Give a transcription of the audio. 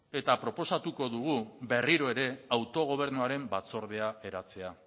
eta proposatuko dugu berriro ere autogobernuaren batzordea eratzea